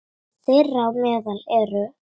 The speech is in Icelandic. Þeirra á meðal eru